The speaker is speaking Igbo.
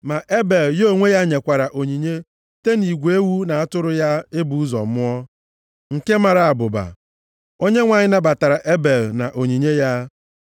Ma Ebel, ya onwe ya nyekwara onyinye site nʼigwe ewu na atụrụ ya e bụ ụzọ mụọ, nke mara abụba. Onyenwe anyị nabatara Ebel na onyinye ya,